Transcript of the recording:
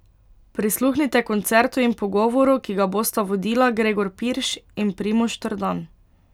Prisluhnite koncertu in pogovoru, ki ga bosta vodila Gregor Pirš in Primož Trdan.